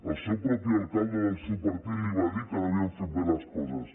el seu propi alcalde del seu partit li va dir que no havien fet bé les coses